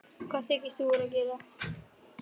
HVAÐ ÞYKIST ÞÚ VERA AÐ GERA!